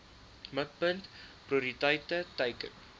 mikpunt prioriteit teiken